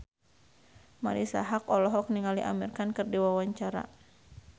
Marisa Haque olohok ningali Amir Khan keur diwawancara